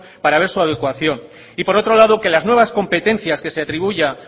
para ver su adecuación y por otro lado que las nuevas competencias que se atribuya